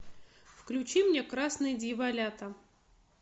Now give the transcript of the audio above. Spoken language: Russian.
включи мне красные дьяволята